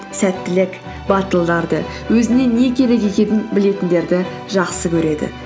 сәттілік батылдарды өзіне не керек екенін білетіндерді жақсы көреді